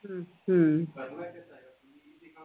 ഹും